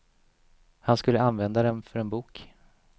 Han skulle använda dem för en bok.